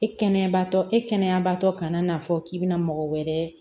E kɛnɛyabaatɔ e kɛnɛyabaatɔ kana n'a fɔ k'i bɛna mɔgɔ wɛrɛ